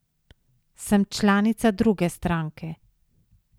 Sem članica druge stranke.